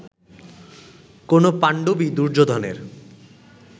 কোন পাণ্ডবই দুর্যোধনের